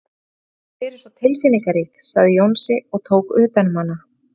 Þú hefur alltaf verið svo tilfinningarík, sagði Jónsi og tók utan um hana.